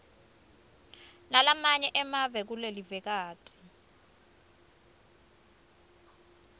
nalamanye emave kulelivekati